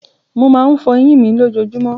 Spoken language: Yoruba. Mo máa ń fọ eyín mi lójojúmọ́.